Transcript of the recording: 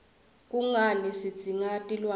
kungani sitidzinga tilwne